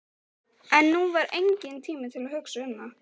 En nú var enginn tími til að hugsa um það.